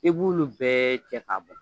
I b'olu bɛɛ cɛ ka bɔ